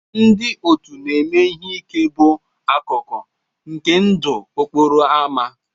Ndị òtù na ime ihe ike bụ akụkụ nke ndụ okporo ámá.